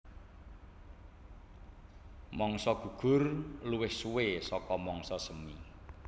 Mangsa gugur luwih suwé saka mangsa semi